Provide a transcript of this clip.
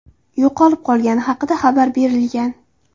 yo‘qolib qolgani haqida xabar berilgan.